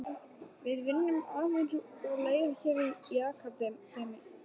Við vinnum aðeins úr leir hér í Akademíunni.